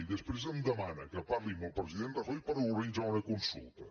i després em demana que parli amb el president rajoy per organitzar una consulta